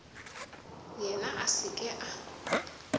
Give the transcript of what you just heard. yena a se ke a